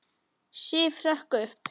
Sif hrökk upp.